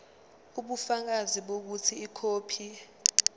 ubufakazi bokuthi ikhophi